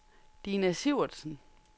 Dina Sivertsen